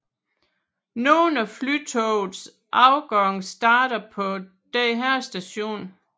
Nogen af Flytogets afgange starter på denne station